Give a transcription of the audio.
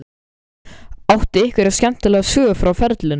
Áttu einhverja skemmtilega sögu frá ferlinum?